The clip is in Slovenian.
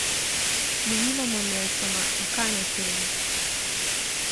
Mi nimamo Nelsona in kaj naj storim?